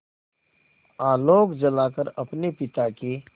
आलोक जलाकर अपने पिता की